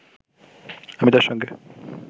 আমি তার সঙ্গে